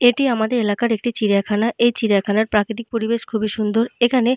এইটি আমাদের এলাকার একটি চিড়িয়াখানা। এই চিড়িয়াখানার প্রাকৃতিক পরিবেশ খুব সুন্দর। এখানে --